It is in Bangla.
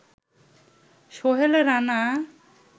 সোহেল রানা